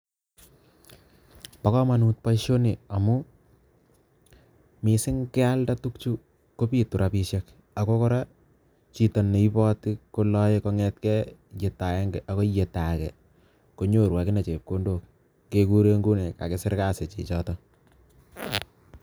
Bo kamonut boisioni amu missing kealde tukchu kobitu rabishek ako kora chito ne iboti kolaei kongetgei yeto agenge ako yeto age konyu akine chepkondok kekure nguni kakisir kazi chichotok.